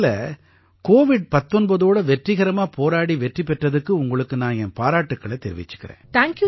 முதல்ல கோவிட் 19ஓட வெற்றிகரமா போராடி வெற்றி பெற்றதுக்கு உங்களுக்கு நான் என் பாராட்டுக்களைத் தெரிவிச்சுக்கறேன்